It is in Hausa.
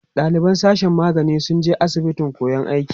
ɗaliban sashen magani sun je asibitin koyan aiki